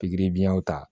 Pikiri biɲɛw ta